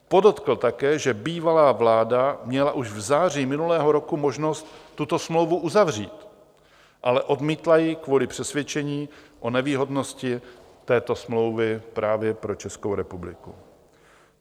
Podotkl také, že bývalá vláda měla už v září minulého roku možnost tuto smlouvu uzavřít, ale odmítla ji kvůli přesvědčení o nevýhodnosti této smlouvy právě pro Českou republiku.